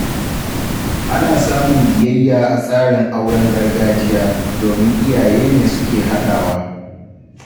Ana samun biyayya a tsarin auren gargajiya, domin iyaye ne suke haɗawa